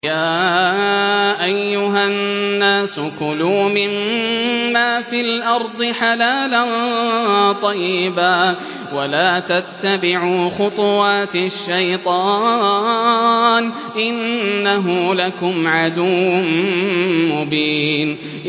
يَا أَيُّهَا النَّاسُ كُلُوا مِمَّا فِي الْأَرْضِ حَلَالًا طَيِّبًا وَلَا تَتَّبِعُوا خُطُوَاتِ الشَّيْطَانِ ۚ إِنَّهُ لَكُمْ عَدُوٌّ مُّبِينٌ